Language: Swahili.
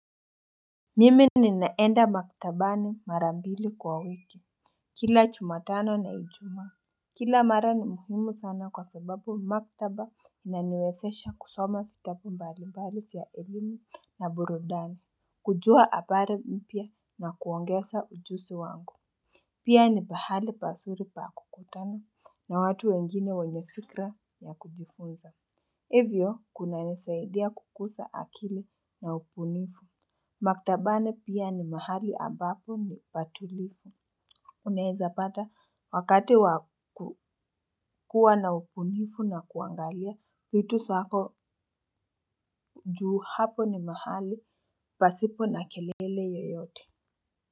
Mimi ninaenda maktabani mara mbili kwa wiki. Kila juma tano na ijumaa kila mara ni muhimu sana kwa sababu maktaba inaniwezesha kusoma vitabu mbali mbali vya elimu na burudani. Kujua habari mpya na kuongeza ujuzi wangu. Pia ni pahali pazuri pa kukutana na watu wengine wenye fikra ya kujifunza. Hivyo kunanisaidia kukuza akili na ubunifu. Maktabani pia ni mahali ambapo nipatulivu. Unaweza pata wakati wakukuwa na ubunifu na kuangalia vitu zako juu hapo ni mahali pasipo na kelele yoyote.